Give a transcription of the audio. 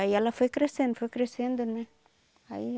Aí ela foi crescendo, foi crescendo, né? Aí